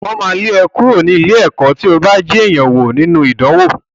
Wọ́n máa lé ẹ kúrò ní ilé-ẹ̀kọ́ tí ó bá jí èèyàn wò nínú ìdánwò.